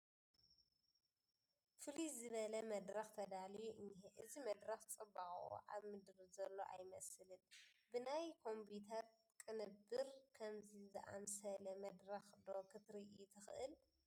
ፍልይ ዝተለ መድረኽ ተዳልዩ እኒሀ፡፡ እዚ መድረኽ ፅባቕኡ ኣብ ምድሪ ዘሎ ኣይመስልን፡፡ ብናይ ኮምፒዩተር ቅንብር ከምዚ ዝኣስለ መድረኽ ዶ ክተርኢ ትኽእል?